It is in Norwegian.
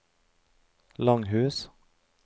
Langhus